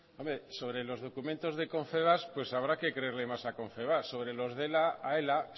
sobre los documentos de confebask habrá que creerle más confebask sobre los de ela a ela